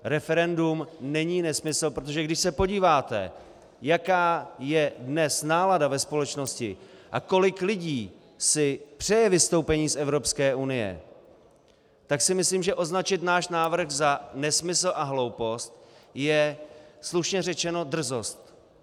Referendum není nesmysl, protože když se podíváte, jaká je dnes nálada ve společnosti a kolik lidí si přeje vystoupení z Evropské unie, tak si myslím, že označit náš návrh za nesmysl a hloupost je slušně řečeno drzost.